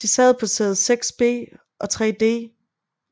De sad på sæde 6B og 3D